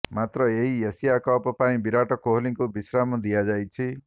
ମାତ୍ର ଏହି Asia cup ପାଇଁ ବିରାଟ କୋହଲିଙ୍କୁ ବିଶ୍ରାମ ଦିଆଯାଇଛି